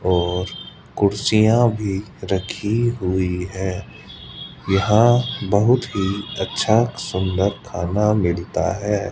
और कुर्सियां भी रखी हुई है यहां बहुत ही अच्छा सुंदर खाना मिलता है।